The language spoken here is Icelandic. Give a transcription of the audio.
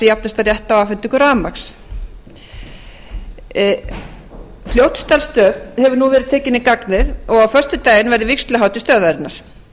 jafnastan rétt á afhendingu rafmagns fljótsdalsstöð hefur nú verið tekin í gagnið og á föstudaginn verður vígsluhátíð stöðvarinnar